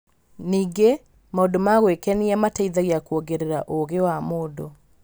Ningĩ, maũndũ ma gwĩkenia mateithagia kuongerera ũũgĩ wa mũndũ.